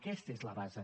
aquesta és la base